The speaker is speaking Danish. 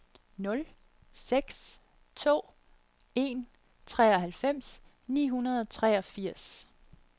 nul seks to en treoghalvfems ni hundrede og treogfirs